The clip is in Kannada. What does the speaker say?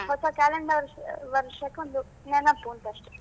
ಹೊಸ calendar ವರ್ಷಕ್ಕೊಂದು ನೆನಪೂಂತ ಅಷ್ಟೆ.